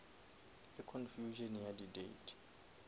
le confusion ya di date